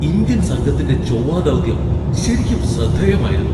Indian സംഘത്തിന്റെ ചൊവ്വാ ദൗത്യം ശരിക്കും ശ്രദ്ധേയമായിരുന്നു.